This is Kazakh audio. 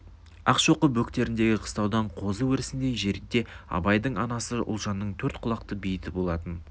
ақшоқы бөктеріндегі қыстаудан қозы өрісіндей жерде абайдың анасы ұлжанның төрт құлақты бейіті болатын